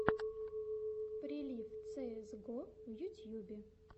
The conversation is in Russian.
прилив цеэс го в ютьюбе